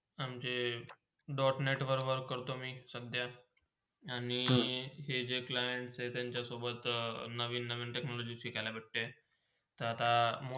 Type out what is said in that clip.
म्हणजे dot net वर वर करतो मी सध्या आणि हेजे clients आहे त्यांच्यासोबत नवीन - नवीन Technology शिखाला भेटते तर आता.